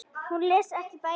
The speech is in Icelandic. Hún les ekki bækur.